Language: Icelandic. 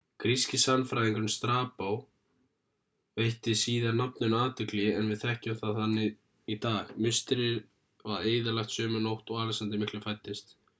gríski sagnfræðingurinn strabo veitti síðar nafninu athygli en við þekkjum það þannig í dag musterið var eyðilagt sömu nótt og alexander mikli fæddist